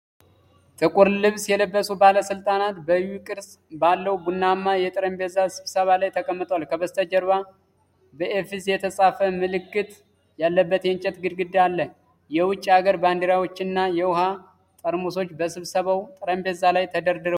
ጥቁር ልብስ የለበሱ ባለሥልጣናት በU ቅርጽ ባለው ቡናማ የጠረጴዛ ስብሰባ ላይ ተቀምጠዋል። ከበስተጀርባ በ"AFEZ" የተጻፈ ምልክት ያለበት የእንጨት ግድግዳ አለ። የውጭ ሀገር ባንዲራዎችና የውሃ ጠርሙሶች በስብሰባው ጠረጴዛ ላይ ተደርድረዋል።